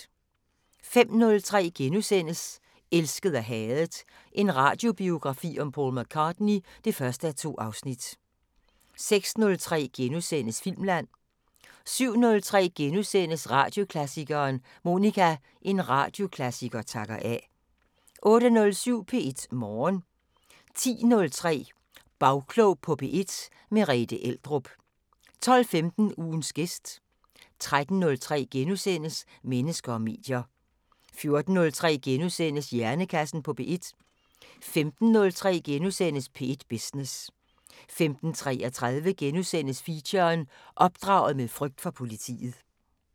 05:03: Elsket og hadet – en radiobiografi om Paul McCartney (1:2)* 06:03: Filmland * 07:03: Radioklassikeren: Monica – En radioklassiker takker af * 08:07: P1 Morgen 10:03: Bagklog på P1: Merethe Eldrup 12:15: Ugens gæst 13:03: Mennesker og medier * 14:03: Hjernekassen på P1 * 15:03: P1 Business * 15:33: Feature: Opdraget med frygt for politiet *